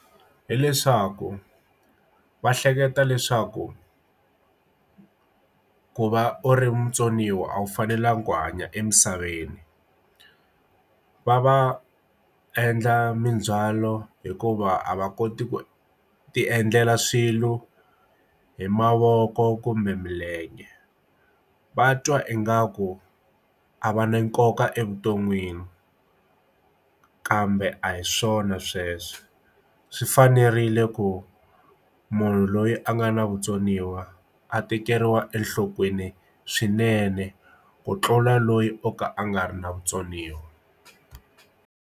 Hi leswaku va hleketa leswaku ku va u ri mutsoniwa a wu fanelanga ku hanya emisaveni va va endla mindzhwalo hikuva a va koti ku ti endlela swilo hi mavoko kumbe milenge va twa ingaku a va na nkoka evuton'wini kambe a hi swona sweswo swi swi fanerile ku munhu loyi a nga na vutsoniwa a tekeriwa enhlokweni swinene ku tlula loyi o ka a nga ri na vutsoniwa.